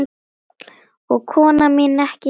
Og kona mín ekki síður.